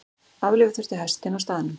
Aflífa þurfti hestinn á staðnum.